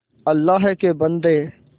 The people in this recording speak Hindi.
अल्लाह के बन्दे